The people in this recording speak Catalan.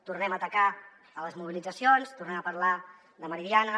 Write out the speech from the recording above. tornem a atacar les mobilitzacions tornem a parlar de meridiana